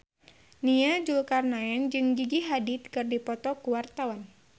Nia Zulkarnaen jeung Gigi Hadid keur dipoto ku wartawan